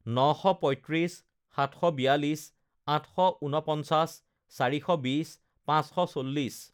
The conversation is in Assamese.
নশ পঁয়ত্ৰিছ, সাতশ বিয়াল্লিছ, আঠশ ঊনপঞ্চাছ, চাৰিশ বিছ, পাঁচশ চল্লিছ